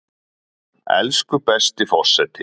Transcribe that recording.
Elsku besti forseti!